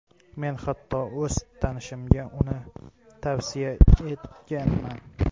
Men hatto o‘z tanishimga uni tavsiya etganman.